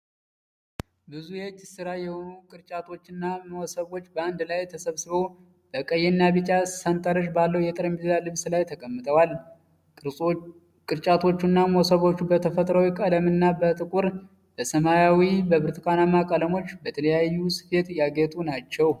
ብዙ የእጅ ሥራ የሆኑ ቅርጫቶችና መሶቦች በአንድ ላይ ተሰብስበው በቀይና ቢጫ ሰንጠረዥ ባለው የጠረጴዛ ልብስ ላይ ተቀምጠዋል። ቅርጫቶቹና መሶቦቹ በተፈጥሯዊ ቀለምና በጥቁር፣ በሰማያዊ፣ በብርቱካንማ ቀለሞች በልዩ ልዩ ስፌት ያጌጡ ናቸው።